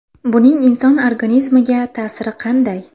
Buning inson organizmiga ta’siri qanday?